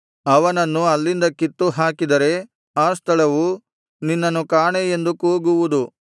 ಅವನನ್ನು ಅಲ್ಲಿಂದ ಕಿತ್ತು ಹಾಕಿದರೆ ಆ ಸ್ಥಳವು ನಿನ್ನನ್ನು ಕಾಣೆ ಎಂದು ಕೂಗುವುದು